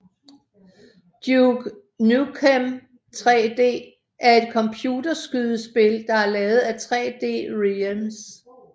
Duke Nukem 3D er et computerskydespil der er lavet af 3D Realms